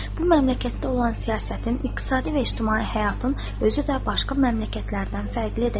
Bu məmləkətdə olan siyasətin, iqtisadi və ictimai həyatın özü də başqa məmləkətlərdən fərqlidir.